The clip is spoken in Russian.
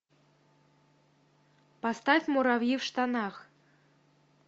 поставь муравьи в штанах